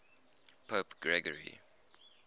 pope gregory